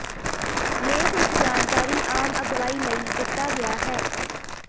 ਲੇਖ ਵਿੱਚ ਜਾਣਕਾਰੀ ਆਮ ਅਗਵਾਈ ਲਈ ਦਿੱਤਾ ਗਿਆ ਹੈ